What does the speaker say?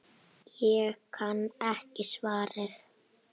Ég kann ekki svarið.